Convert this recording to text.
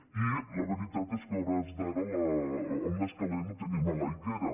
i la veritat és que a hores d’ara el més calent ho tenim a l’aigüera